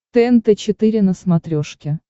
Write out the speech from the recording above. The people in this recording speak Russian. тнт четыре на смотрешке